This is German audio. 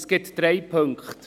Es gibt drei Punkte.